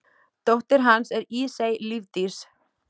Dóttir hans er Ísey Lífdís.